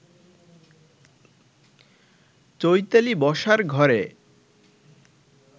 চৈতালি বসার ঘরে